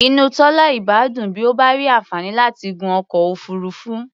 Inú Tọ́lá ìbá dùn bí ó bá ní àǹfààní láti gun ọkọ̀ òfuurufú.